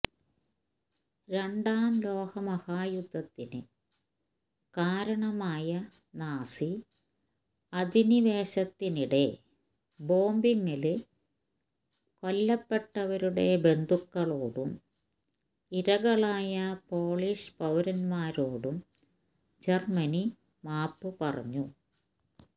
രണ്ടാം ലോകമഹായുദ്ധത്തിന് കാരണമായ നാസി അധിനിവേശത്തിനിടെ ബോംബിങ്ങില് കൊല്ലപ്പെട്ടവരുടെ ബന്ധുക്കളോടും ഇരകളായ പോളിഷ് പൌരന്മാരോടും ജര്മ്മനി മാപ്പ് പറഞ്ഞു